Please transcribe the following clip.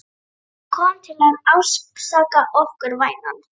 Hann kom til að ásaka okkur, vænan.